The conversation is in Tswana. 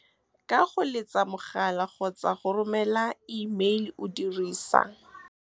Ka go letsa mogala kgotsa go romela imeile o dirisa. Ka go letsa mogala kgotsa go romela imeile o dirisa.